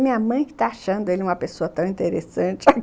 Minha mãe está achando ele uma pessoa tão interessante.